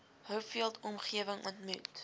hopefield omgewing ontmoet